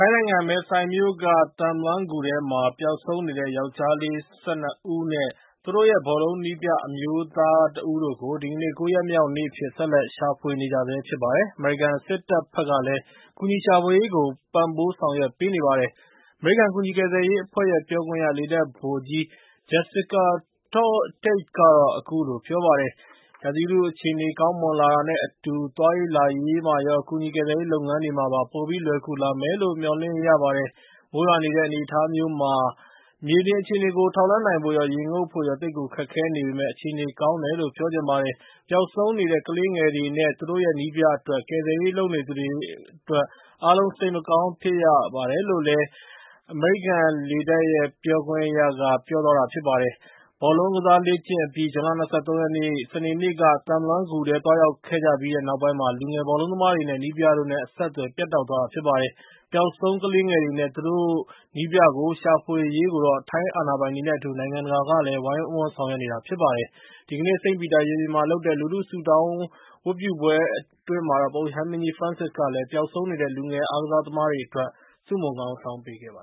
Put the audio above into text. ိုင်းနိုင်ငံ မယ်ဆိုင်မြို့က Tham Luang ဂူထဲမှာ ပျောက်ဆုံးနေတဲ့ ယောကျာ်း ကလေး ၁၂ ဦးနဲ့ သူတို့ရဲ့ ဘောလုံး နည်းပြ အမျိုးသား တဦးတို့ကို ဒီကနေ့ ၉ ရက်မြောက်နေ့ အဖြစ် ဆက်လက် ရှာဖွေနေကြဆဲ ဖြစ်ပါတယ်။ အမေရိကန် စစ်တပ်ဘက်ကလည်း ကူညီရှာဖွေရေးကို ပံ့ပိုးဆောင်ရွက်ပေးနေတာပါ။ အမေရိကန် ကူညီကယ်ဆယ်ရေး အဖွဲ့ရဲ့ ပြောခွင့်ရ လေတပ် ဗိုလ်ကြီး Jessica Tait က အခုလို ပြောပါတယ်။ "ရာသီဥတု အခြေအနေ ကောင်းမွန်လာတာနဲ့ အတူ သွားရေး လာရေးမှာရော ကူညီကယ်ဆယ်ရေး လုပ်ငန်းတွေမှာပါ ပိုပြီး လွယ်ကူလာမယ်လို့ မျှော်လင့်ရပါတယ်။ မိုးရွာနေတဲ့ အနေအထား မျိုးမှာ မြေပြင် အခြေအနေကို ထောက်လှမ်းနိုင်ဖို့ရော ရေငုပ်ဖို့ရော သိပ်ကို ခက်ခဲ့နေပေမယ့် အခြေအနေ ကောင်းတယ်လို့ ပြောချင်ပါတယ်။ ပျောက်ဆုံးနေတဲ့ ကလေးငယ်တွေနဲ့ သူတို့ရဲ့ နည်းပြ အတွက် ကယ်ဆယ်ရေး လုပ်နေသူတွေ အားလုံး စိတ်မကောင်း ဖြစ်ကြရပါတယ်။ ဘောလုံးကစား လေ့ကျင့် အပြီး ဇွန်လ ၂၃ ရက်နေ့ စနေနေ့က Tham Luang ဂူထဲ သွားရောက်ခဲ့ကြပြီးနောက်ပိုင်းမှာ လူငယ် ဘောလုံးသမားတွေနဲ့ နည်းပြတို့နဲ့ အဆက်အသွယ် ပြတ်တောက်သွားတာ ဖြစ်ပါတယ်။ ပျောက်ဆုံး ကလေးငယ်တွေနဲ့ သူတို့ နည်းပြကို ရှာဖွေရေးကိုတော့ ထိုင်းအာဏာပိုင်တွေနဲ့ အတူ နိုင်ငံတကာကလည်း ဝိုင်းဝန်းဆောင်ရွက်နေကြပါတယ်။ ဒီကနေ့ စိန့်ပီတာ ရင်ပြင်မှာ လုပ်တဲ့ လူထု ဆုတောင်း ဝတ်ပြုပွဲ အတွင်း ပုပ်ရဟန်းမင်းကြီး ဖရန်စစ်ကလည်း ပျောက်ဆုံးနေတဲ့ လူငယ် အားကစား သမားတွေ အတွက် ဆုမွန်တောင်းပေးခဲ့ပါ